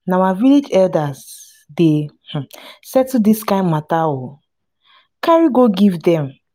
na our village elders dey settle dis kind mata o carry go give dem.